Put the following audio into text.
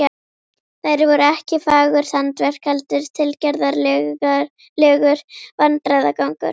Þær voru ekki fagurt handverk heldur tilgerðarlegur vandræðagangur.